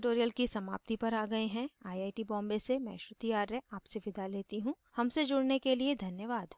हम इस tutorial की समाप्ति पर आ गए हैं आई आई we बॉम्बे से मैं श्रुति आर्य आपसे विदा लेती हूँ हमसे जुड़ने के लिए धन्यवाद